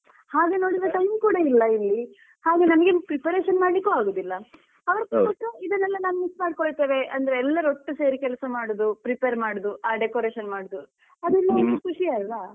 ಹಾಗೆ ನೋಡಿದ್ರೆ time ಕೂಡ ಇಲ್ಲ ಇಲ್ಲಿ ಹಾಗೆ ನಮಗೇನು preparation ಮಾಡ್ಲಿಕ್ಕೂ ಆಗುದಿಲ್ಲ ಅವರತ್ರ ಕೊಟ್ರೆ ಇದನ್ನೆಲ್ಲ ನಾವ್ miss ಮಾಡ್ಕೊಳ್ತೇವೆ ಅಂದ್ರೆ ಎಲ್ಲರು ಒಟ್ಟು ಸೇರಿ ಕೆಲ್ಸ ಮಾಡುದು prepare ಮಾಡುದು ಆ decoration ಮಾಡುದು ಅದೆಲ್ಲ ಖುಷಿ ಅಲ್ವ.